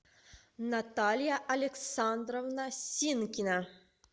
наталья александровна синкина